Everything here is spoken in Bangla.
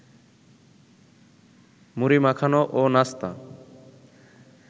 মুড়ি মাখানো ও নাস্তা